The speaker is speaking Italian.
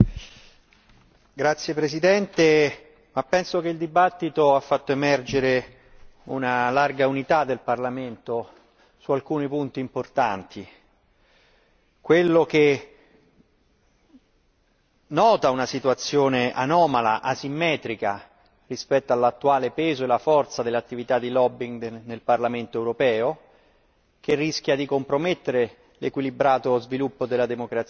Signora Presidente, onorevoli colleghi, ritengo che il dibattito abbia fatto emergere un'ampia unità del Parlamento su alcuni punti importanti. In primo luogo, quello che riguarda una situazione anomala, asimmetrica, rispetto all'attuale peso e la forza dell'attività di lobbying nel Parlamento europeo, che rischia di compromettere l'equilibrato sviluppo della democrazia in Europa.